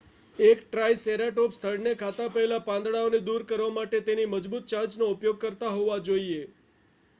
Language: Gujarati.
એક ટ્રાઈસેરાટોપ્સ થડને ખાતા પહેલા પાંદડાઓને દૂર કરવા માટે તેની મજબૂત ચાંચનો ઉપયોગ કરતો હોવો જોઈએ